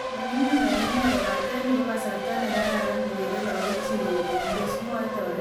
"Manyummyum en inee kobaten nito ko kasarta nekararan kokere lakok chik kourerendos" , mwae terindet noton .